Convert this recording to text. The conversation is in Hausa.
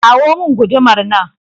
kawo min gudumar nan